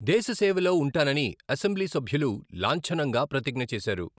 దేశ సేవలో ఉంటానని అసెంబ్లీ సభ్యులు లాంఛనంగా ప్రతిజ్ఞ చేశారు.